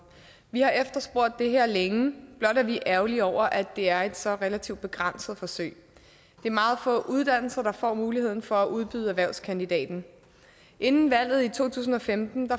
vi har efterspurgt det her længe blot er vi ærgerlige over at det er et så relativt begrænset forsøg det er meget få uddannelser der får muligheden for at udbyde erhvervskandidaten inden valget i to tusind og femten